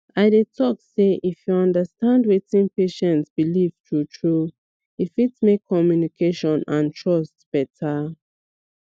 i dey talk sey if you understand wetin patient believe truetrue e fit make communication and trust better